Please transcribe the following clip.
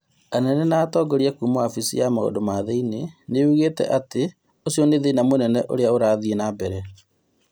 Anene na atongoria kuma wabici ya maũndũ ma thĩinĩ nĩyugĩte atĩ ũcio nĩ thĩna mũnene ũra thiĩ na mbere